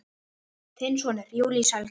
Þinn sonur, Júlíus Helgi.